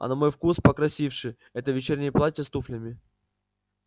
а на мой вкус покрасивше это вечернее платье с туфлями